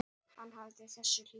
Hann hafði þessa hlýju.